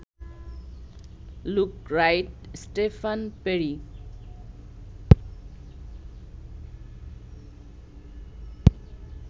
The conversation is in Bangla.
look Wright, Stephen peri